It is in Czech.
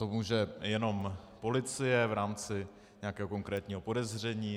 To může jenom policie v rámci nějakého konkrétního podezření.